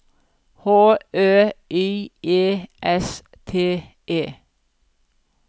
H Ø Y E S T E